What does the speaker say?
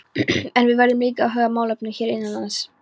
En við verðum líka að huga að málefnum hér innanlands.